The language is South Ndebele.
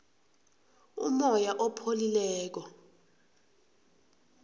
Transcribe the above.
umoya opholileko